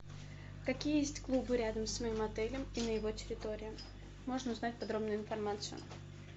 какие есть клубы рядом с моим отелем и на его территории можно узнать подробную информацию